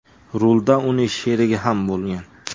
Rulda uning sherigi ham bo‘lgan.